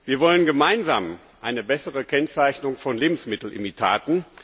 Wir wollen gemeinsam eine bessere Kennzeichnung von Lebensmittelimitaten.